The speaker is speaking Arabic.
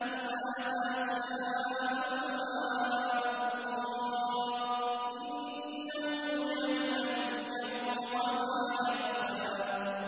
إِلَّا مَا شَاءَ اللَّهُ ۚ إِنَّهُ يَعْلَمُ الْجَهْرَ وَمَا يَخْفَىٰ